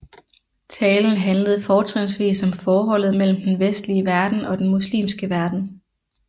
Talen handlede fortrinsvis om forholdet mellem den vestlige verden og den muslimske verden